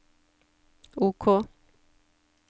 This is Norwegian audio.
OK